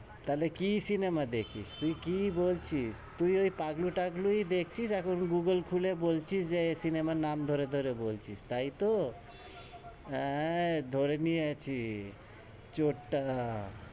তাহলে কি সিনেমা দেখিস? তুই কি বলছিস? তুই ওই পাগলু-টাগলুই দেখছিস এখ্ন গুগল খুলে বলছিস, যে সিনেমার নাম ধরে ধরে বলছিস, তাইতো? হ্যাঁ, ধরে নিয়ে ছি, চোরটা,